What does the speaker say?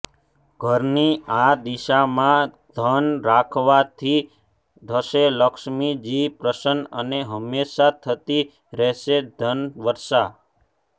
ઘરની આ દિશામાં ધન રાખવાથી થશે લક્ષ્મીજી પ્રસન્ન અને હંમેશા થતી રહેશે ધનવર્ષા